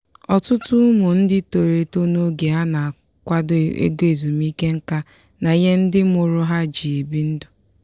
ọtụtụ ụmụ ndị toro eto n'oge a na-akwado ego ezumike nká na ihe ndị mụrụ ha ji ebi ndụ.